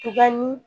Tugani